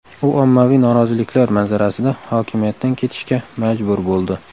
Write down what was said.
U ommaviy noroziliklar manzarasida hokimiyatdan ketishga majbur bo‘ldi.